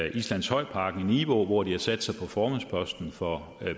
i islandshøjparken i nivå hvor de har sat sig på formandsposten for